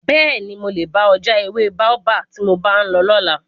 Bẹ́ẹ̀ni, mo lè bá ọ já ewé Baobab tí mo bá ń bọ̀ lọ́la.